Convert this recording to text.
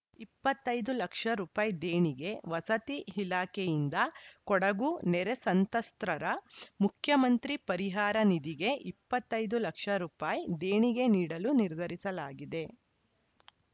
ಇಪ್ಪತ್ತ್ ಐದು ಲಕ್ಷ ರೂಪಾಯಿ ದೇಣಿಗೆ ವಸತಿ ಇಲಾಖೆಯಿಂದ ಕೊಡಗು ನೆರೆ ಸಂತ್ರಸ್ತರ ಮುಖ್ಯಮಂತ್ರಿ ಪರಿಹಾರ ನಿಧಿಗೆ ಇಪ್ಪತ್ತ್ ಐದು ಲಕ್ಷ ರೂಪಾಯಿ ದೇಣಿಗೆ ನೀಡಲು ನಿರ್ಧರಿಸಲಾಗಿದೆ